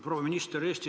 Proua minister!